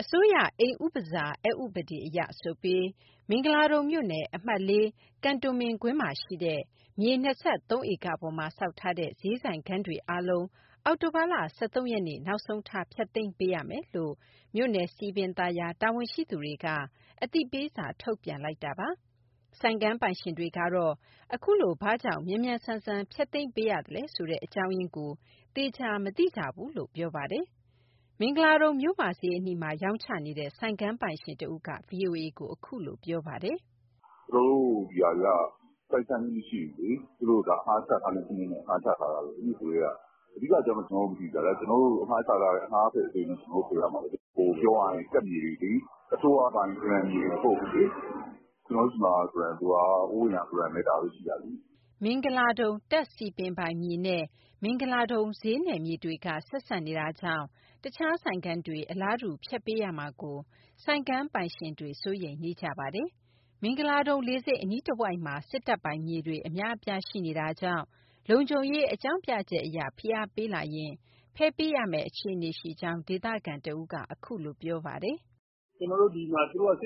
အစိုးရအိမ်ဥပစာ (နှင်ထုတ်ခြင်း) အက်ဥပဒေအရ ဆိုပြီး မင်္ဂလာဒုံမြို့နယ် အမှတ်(၄) ကန်တိုမင်ကွင်းမှာရှိတဲ့ မြေ ၂၃ ဧကပေါ်မှာဆောက်ထားတဲ့ ဈေးဆိုင်ခန်းတွေအားလုံး အောက်တိုဘာလ ၁၃ ရက်နေ့ နောက်ဆုံးထား ဖျက်သိမ်းပေးရမယ်လို့ မြို့နယ်စည်ပင်သာယာ တာဝန်ဝန်ရှိသူတွေက အသိပေးစာ ထုတ်ပြန်လိုက်တာပါ။ ဆိုင်ခန်းပိုင်ရှင်တွေကတော့ အခုလို ဘာကြောင့် မြန်မြန်ဆန်ဆန် ဖျက်သိမ်းပေးရသလဲဆိုတဲ့ အကြောင်းရင်းကို သေချာမသိကြဘူးလို့ ပြောပါတယ်။ မင်္ဂလာဒုံမြို့မဈေးအနီးမှာ ရောင်းချနေတဲ့ ဆိုင်ခန်းပိုင်ရှင်တဦးက VOA ကို အခုလိုပြောပါတယ်။ " ကျနော်တို့ဒီဟာတွေက ပိုင်ဆိုင်မှုမရှိဘူးလေ သူတို့အငှားချထားတဲ့စနစ်နဲ့ အငှားချထားတာ နဂိုကတည်းက။ အဓိကအကြောင်းတော့ ကျနော်တို့မသိဘူးဗျ အငှားဆိုတော့ ကျနော်တို့ကို ဖယ်ပေးဆို ဖယ်ပေးရမှာပဲလေ။ ပြောရရင် တပ်မြေတွေလေ အစိုးရပိုင်ဂရံမြေတွေ မဟုတ်ဘူးလေ၊ ကျနော်တို့ဆီမှာ ဂရံဆိုတာက ဟိုးအရင်ကဂရံပဲ ဒါပဲရှိတာလေ။" မင်္ဂလာဒုံ တပ်စည်ပင်ပိုင်မြေနဲ့ မင်္ဂလာဒုံဈေးနယ်မြေတွေက ဆက်စပ်နေတာကြောင့် တခြားဆိုင်ခန်းတွေ အလားတူ ဖျက်ပေးရမှာကို ဆိုင်ခန်းပိုင်ရှင်တွေ စိုးရိမ်နေကြပါတယ်။ မင်္ဂလာဒုံလေဆိပ်အနီးတဝိုက်မှာ စစ်တပ်ပိုင်မြေတွေ အများအပြား ရှိနေတာကြောင့် လုံခြုံရေးအကြောင်းပြချက်အရ ဖိအားပေးလာရင် ဖယ်ပေးရမယ့် အခြေအနေရှိကြောင်း ဒေသခံတဦးက အခုလိုပြောပါတယ်။ " ဒီမှာက စ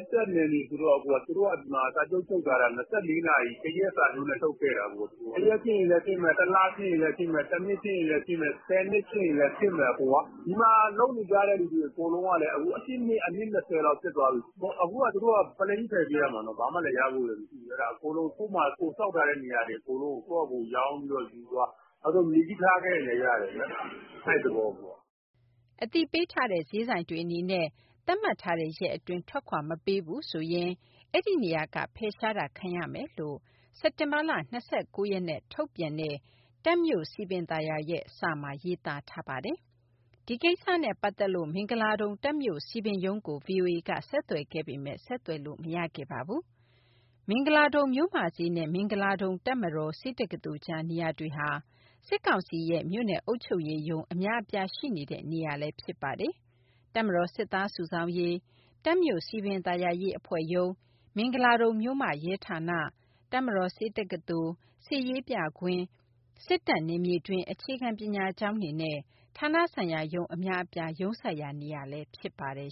စ်တပ်နယ်မြေဆိုတော့ သူတို့ကဒီမှာစာချုပ်ချုပ်ထားတာ ၂၄နာရီ တရက်စာချုပ်နဲ့ ချုပ်ခဲ့တာ။ တရက်ဖြစ်ရင်လည်းဖြစ်မယ်၊ တလဖြစ်ရင်လည်းဖြစ်မယ်၊ တနှစ်ဖြစ်ရင်လည်းဖြစ်မယ်၊ ဆယ်နှစ်ဖြစ်ရင်လည်းဖြစ်မယ်။ ဒီမှာလုပ်နေကြတဲ့လူတွေ အကုန်လုံးက ၁၈နှစ် အနှစ်၂၀လောက် ဖြစ်သွားပြီ၊ အခုကသူတို့က ပလိန်းကြီးဖယ်ပေးရမှာ ဘာမှလည်းရဖို့လည်းမရှိဘူး၊ ကိုယ်ဆောက်ထားတဲ့ နေရာတွေအကုန်လုံးကိုယ့်ဖာသာ ရောင်းပြီးတော့ယူသွား၊ နောက်ဆုံး မြေကြီးထားခဲ့ရင်လည်းရတယ် အဲဒီသဘော။" အသိပေးထားတဲ့ ဈေးဆိုင်တွေအနေနဲ့ သတ်မှတ်ထားတဲ့ရက်အတွင်း ထွက်ခွာမပေးဘူးဆိုရင် အဲဒီနေရာက ဖယ်ရှားတာ ခံရမယ်လို့ စက်တင်ဘာလ ၂၉ ရက်နဲ့ ထုတ်ပြန်ခဲ့တဲ့ တပ်မြို့စည်ပင်သာယာရဲ့ စာမှာ ရေးသားထားတာပါ။ ဒီကိစ္စနဲ့ ပတ်သက်လို့ မင်္ဂလာဒုံ တပ်မြို့စည်ပင်ရုံးကို ဗွီအိုအေက ဆက်သွယ်ခဲ့ပေမဲ့ ဆက်သွယ်လို့ မရခဲ့ပါဘူး။ မင်္ဂလာဒုံမြို့မဈေးနဲ့ မင်္ဂလာဒုံ တပ်မတော် ဆေးတက္ကသိုလ်ကြား နေရာတွေဟာ စစ်ကောင်စီရဲ့ မြို့နယ်အုပ်ချုပ်ရေး ရုံးအများအပြားရှိနေတဲ့ နေရာလည်း ဖြစ်ပါတယ်။ တပ်မတော်စစ်သားစုဆောင်းရေး၊ တပ်မြို့စည်ပင်သာယာရေး အဖွဲ့ရုံး၊ မင်္ဂလာဒုံမြို့မ ရဲဌာန၊ တပ်မတော်ဆေးတက္ကသိုလ်၊ စစ်ရေးပြကွင်း၊ စစ်တပ်နယ်မြေတွင်း အခြေခံပညာကျောင်းတွေနဲ့ ဌာနဆိုင်ရာရုံးအများအပြား ရုံးစိုက်ရာနေရာလည်း ဖြစ်ပါတယ်